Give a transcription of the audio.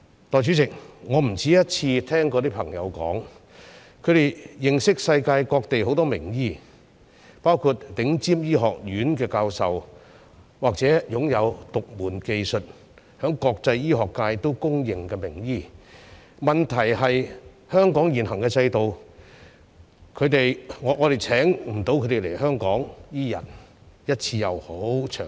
代理主席，我不止一次聽到朋友說，他們認識世界各地很多名醫，包括頂尖醫學院的教授，或是擁有獨門技術、受到國際醫學界認可的名醫，問題在於香港現行的制度，令我們無法邀請他們來香港，不管是一次性或長期。